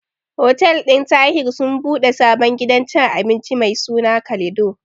Hotel ɗin Tahir sun ɓude sabon gidan cin abinci mai suna Kalido.